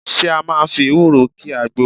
Ṣé ẹ máa fi ewúro ki àgbo?